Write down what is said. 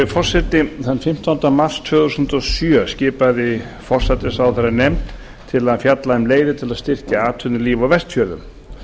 forseti þann fimmtánda mars tvö þúsund og sjö skipaði forsætisráðherra nefnd til að fjalla um leiðir til að styrkja atvinnulíf á vestfjörðum